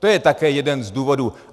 To je také jeden z důvodů.